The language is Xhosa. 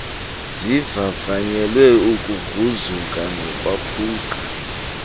zivavanyelwe ukugruzuka nokwaphuka